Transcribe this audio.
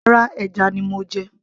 rárá, ẹja ni mo jẹ